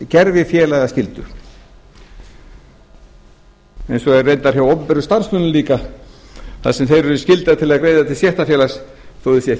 sér gervifélagsskyldu eins og er reyndar hjá opinberum starfsmönnum líka þar sem þeir eru skyldaðir til að greiða til stéttarfélags þó þeir séu ekki